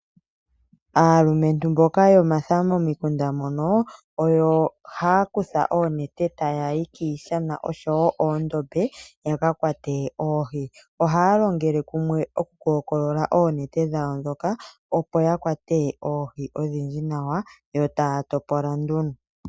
Aalumentu mboka yomatha momukunda mono oyo haya kutha oonete taya yi kiishana nokondombe yaka kwate oohi. Ohaya longele kumwe oku kokolola oonete dhawo ndhoka opo ya kwate oohi odhindji nawa yo taya topola nduno.